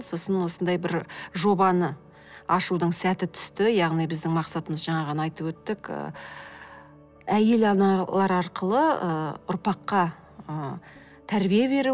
сосын осындай бір жобаны ашудың сәті түсті яғни біздің мақсатымыз жаңа ғана айтып өттік ы әйел аналар арқылы ы ұрпаққа ы тәрбие беру